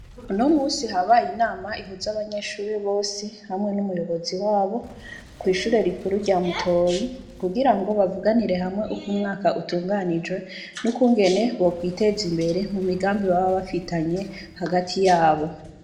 Unomunsi, habaye inama ihuza abanyeshure bose hamwe n’umuyobozi wabo, kw’ishure rikuru rya Mutoyi; kugira ngo bavuganire hamwe uko umwaka utunganijwe, n’ukungene bokwiteza imbere mu migambi baba bafitanye hagati yabo.